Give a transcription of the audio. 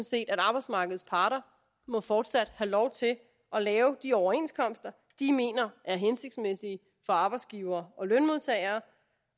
set at arbejdsmarkedets parter fortsat må have lov til at lave de overenskomster de mener er hensigtsmæssige for arbejdsgivere og lønmodtagere